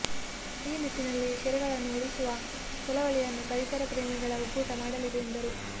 ಈ ನಿಟ್ಟಿನಲ್ಲಿ ಕೆರೆಗಳನ್ನು ಉಳಿಸುವ ಚಳವಳಿಯನ್ನು ಪರಿಸರ ಪ್ರೇಮಿಗಳ ಒಕ್ಕೂಟ ಮಾಡಲಿದೆ ಎಂದರು